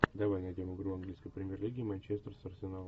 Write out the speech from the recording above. давай найдем игру английской премьер лиги манчестер с арсеналом